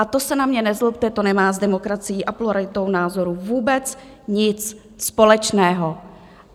A to se na mě nezlobte, to nemá s demokracií a pluralitou názorů vůbec nic společného.